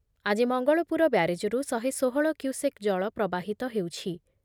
ଆଜି ମଙ୍ଗଳପୁର ବ୍ୟାରେଜରୁ ଶହେ ଷୋହଳ କ୍ୟୁସେକ୍ ଜଳ ପ୍ରବାହିତ ହେଉଛି ।